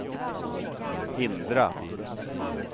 hindra